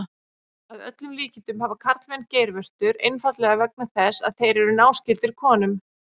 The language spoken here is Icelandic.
Að öllum líkindum hafa karlmenn geirvörtur einfaldlega vegna þess að þeir eru náskyldir konum.